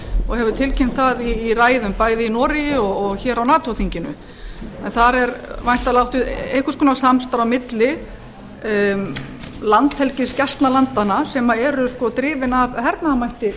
og hefur tilkynnt það í ræðum bæði í noregi og hér á nato þinginu en þar er væntanlega átt við eins konar samstarf á milli landhelgisgæslnalandanna sem eru drifin af hernaðarmætti